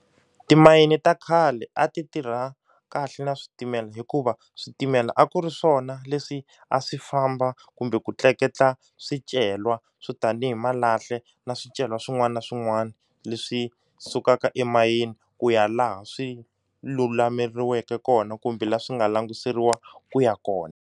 Timayini ta khale a ti tirha kahle na switimela hikuva switimela a ku ri swona leswi a swi famba kumbe ku tleketla swicelwa swo tani hi malahla na swicelwa swin'wana na swin'wana leswi sukaka emayini ku ya laha swi lulameriweke kona kumbe laha swi nga languseriwa ku ya kona.